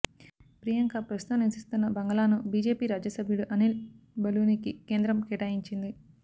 ప్రియాంక ప్రస్తుతం నివసిస్తున్న బంగళాను బిజెపి రాజ్యసభ సభ్యుడు అనిల్ బలూనికి కేంద్రం కేటాయించింది